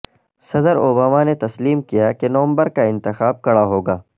صدر اوباما نے تسلیم کیا کہ نومبر کا انتخاب کڑا ہو گا